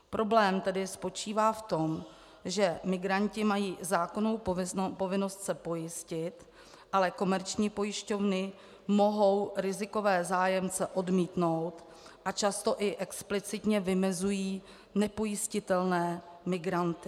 Problém tedy spočívá v tom, že migranti mají zákonnou povinnost se pojistit, ale komerční pojišťovny mohou rizikové zájemce odmítnout a často i explicitně vymezují nepojistitelné migranty.